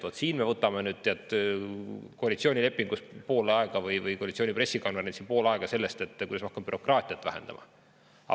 Vaat siin me oleme valmis koalitsioonilepingu või koalitsiooni pressikonverentsil pool ajast sellele, et kuidas me hakkame bürokraatiat vähendama.